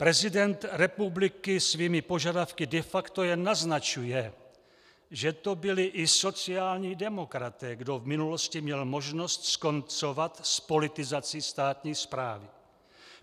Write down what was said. Prezident republiky svými požadavky de facto jen naznačuje, že to byli i sociální demokraté, kdo v minulosti měl možnost skoncovat s politizací státní správy.